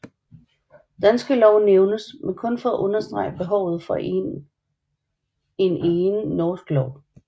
Danske Lov nævnes men kun for at understrege behovet for en egen norsk lov